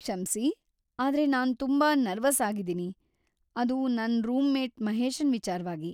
ಕ್ಷಮ್ಸಿ‌, ಆದ್ರೆ ನಾನ್ ತುಂಬಾ ನರ್ವಸ್ ಆಗಿದ್ದೀನಿ, ಅದು ನನ್ ರೂಮ್‌ಮೇಟ್ ಮಹೇಶನ್ ವಿಚಾರ್ವಾಗಿ.